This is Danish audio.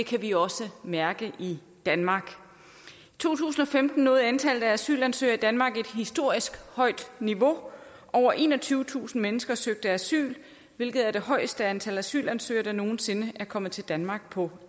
kan vi også mærke i danmark i to tusind og femten nåede antallet af asylansøgere i danmark et historisk højt niveau over enogtyvetusind mennesker søgte asyl hvilket er det højeste antal asylansøgere der nogen sinde er kommet til danmark på